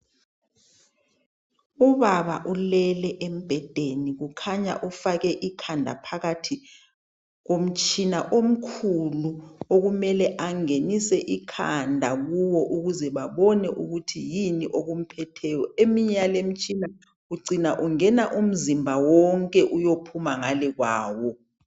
Ubaba ulele embhedeni kukhanya ufake ikhanda phakathi komtshina omkhulu okumele angenise ikhanda kuwo ukuze babone ukuthi yini okumphetheyo. Eminye yaleyimtshina ucina ungena umzimba wonke uyophuma ngale kwawo.